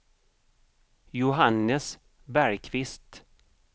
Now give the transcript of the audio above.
Johannes Bergkvist